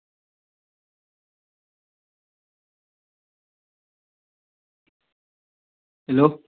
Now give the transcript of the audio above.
Hello